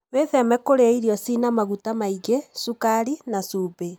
Wĩtheme kũrĩa irio cĩĩna maguta maingĩ, cukari na cumbĩ